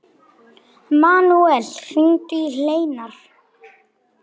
Manuel, hringdu í Hleinar.